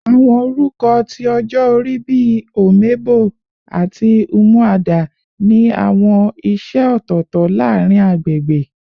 Awọn orukọ ti ọjọ ori bi "Omebo" ati "Umuada" ni awọn iṣẹ ọtọtọ laarin agbegbe